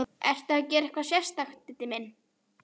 Ertu að gera eitthvað sérstakt, Diddi minn.